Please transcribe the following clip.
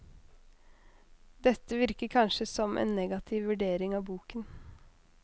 Dette virker kanskje som en negativ vurdering av boken.